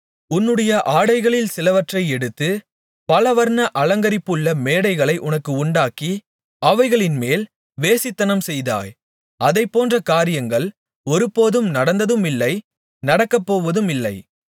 உன்னுடைய ஆடைகளில் சிலவற்றை எடுத்து பலவர்ண அலங்கரிப்புள்ள மேடைகளை உனக்கு உண்டாக்கி அவைகளின்மேல் வேசித்தனம்செய்தாய் அதைப்போன்ற காரியங்கள் ஒருபோதும் நடந்ததுமில்லை நடக்கப்போவதுமில்லை